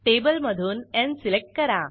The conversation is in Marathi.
टेबलमधून न् सिलेक्ट करा